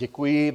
Děkuji.